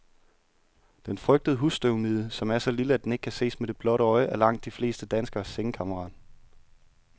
Den frygtede husstøvmide, som er så lille, at den ikke kan ses med det blotte øje, er langt de fleste danskeres sengekammerat.